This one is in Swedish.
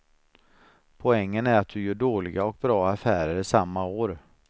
Poängen är att du gör dåliga och bra affärer samma år.